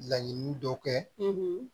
Laɲini dɔ kɛ